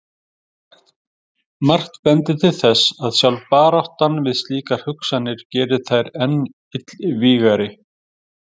Margt bendir til þess að sjálf baráttan við slíkar hugsanir geri þær enn illvígari.